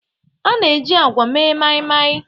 A na-eji agwa mee Mai-mai.